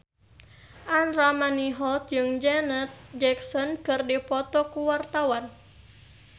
Andra Manihot jeung Janet Jackson keur dipoto ku wartawan